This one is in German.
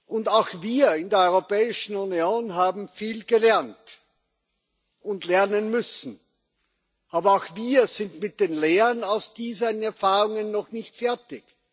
Und auch wir in der Europäischen Union haben viel gelernt und lernen müssen. Aber auch wir sind mit den Lehren aus diesen Erfahrungen noch nicht fertig.